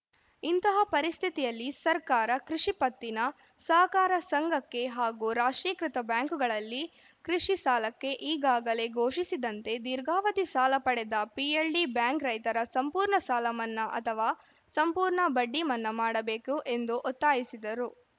ಇಂತಹ ಪರಿಸ್ಥಿತಿಯಲ್ಲಿ ಸರ್ಕಾರ ಕೃಷಿ ಪತ್ತಿನ ಸಹಕಾರ ಸಂಘಕ್ಕೆ ಹಾಗೂ ರಾಷ್ಟ್ರೀಕೃತ ಬ್ಯಾಂಕುಗಳಲ್ಲಿ ಕೃಷಿ ಸಾಲಕ್ಕೆ ಈಗಾಗಲೇ ಘೋಷಿಸಿದಂತೆ ದೀರ್ಘಾವಧಿ ಸಾಲ ಪಡೆದ ಪಿಎಲ್‌ಡಿ ಬ್ಯಾಂಕ್‌ ರೈತರ ಸಂಪೂರ್ಣ ಸಾಲ ಮನ್ನಾ ಅಥವಾ ಸಂಪೂರ್ಣ ಬಡ್ಡಿ ಮನ್ನಾ ಮಾಡಬೇಕು ಎಂದು ಒತ್ತಾಯಿಸಿದರು